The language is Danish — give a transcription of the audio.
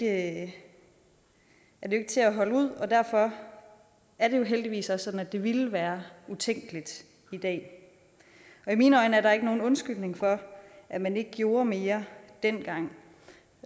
at holde ud og derfor er det heldigvis også sådan at det ville være utænkeligt i dag i mine øjne er der ikke nogen undskyldning for at man ikke gjorde mere dengang